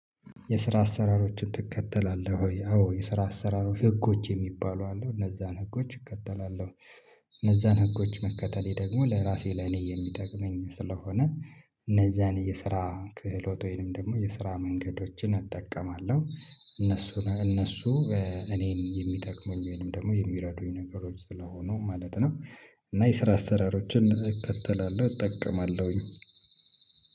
የስራ አሰራሮችን ትከተላለህ ወይ? አዎ የስራ አሰራሮች ህጎች የሚባሉ አለው እነዛን ህጎች እከተላለሁ። እነዛን ህጎች መከተሌ ደግሞ ለራሴ ለኔ የሚጠቅመኝ ስለሆነ። እነዛን የስራ ክህሎት ወይንም ደግሞ የስራ መንገዶችን እጠቀማለሁ። እነሱ እነሱ እኔን የሚጠቅመኝ ወይም ደግሞ የሚረዱኝ ነገሮች ስለሆኑ ማለት ነው። እና የስራ አሰራሮችን እከተላለሁ እጠቀማለሁኝ።